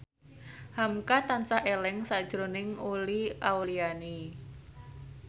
hamka tansah eling sakjroning Uli Auliani